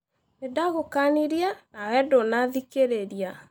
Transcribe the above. Nĩndagũkanirie , nawe ndũnathikĩrĩria.